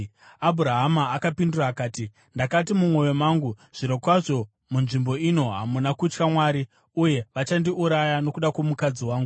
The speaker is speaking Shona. Abhurahama akapindura akati, “Ndakati mumwoyo mangu, ‘Zvirokwazvo munzvimbo ino hamuna kutya Mwari, uye vachandiuraya nokuda kwomukadzi wangu.’